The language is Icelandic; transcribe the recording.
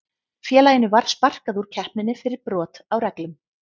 Félaginu var sparkað úr keppninni fyrir brot á reglum.